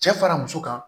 Cɛ fara muso kan